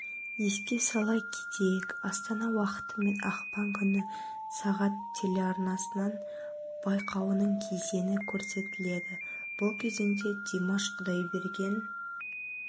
еске сала кетейік астана уақытымен ақпан күні сағат телеарнасынан байқауының кезеңі көрсетіледі бұл кезеңде димаш құдайберген